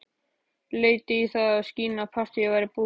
Lét í það skína að partíið væri búið.